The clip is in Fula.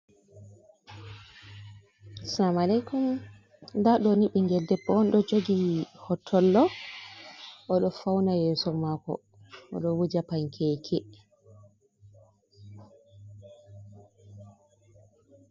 Sama'lakum nda ɗo ni ɓingel debbo on ɗo jogi hotollo oɗo fauna yeso mako oɗo wuja pankeke.